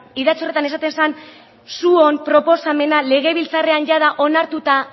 idatzi horretan esaten zen zuen proposamena legebiltzarrean jada onartutako